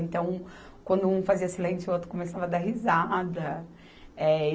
Então, quando um fazia silêncio, o outro começava a dar risada. É